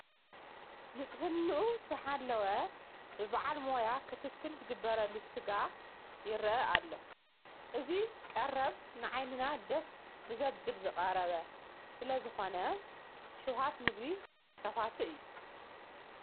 ንፅሕንኡ ዝሓለወ በብዓል ሞያ ክትትል ዝግበረሉ ስጋ ይርአ ኣሎ፡፡ እዚ ቀረብ ንዓይንና ደስ ብዘብል ዝቐረበ ስለዝኾነ ሽውሃት ምግቢ ከፋቲ እዩ፡፡